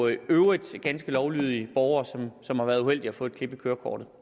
i øvrigt ganske lovlydige borgere som har været uheldige at få et klip i kørekortet